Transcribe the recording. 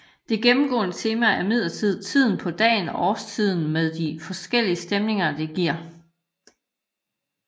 Det gennemgående tema er imidlertid tiden på dagen og årstiden med de forskellige stemninger det giver